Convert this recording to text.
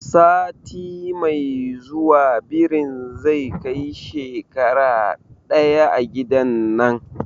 Sati mai zuwa birin zai kai shekara ɗaya a gidan nan